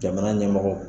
Jamana ɲɛmɔgɔ